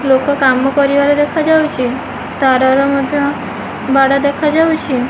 ଲୋକ କାମ କରିବାର ଦେଖାଯାଉଛି ତାର ର ମଧ୍ୟ ବାଡ ଦେଖାଯାଉଛି।